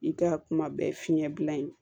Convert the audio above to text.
I ka kuma bɛ fiɲɛdilan in